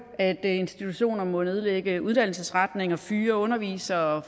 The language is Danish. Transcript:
at institutioner må nedlægge uddannelsesretninger fyre undervisere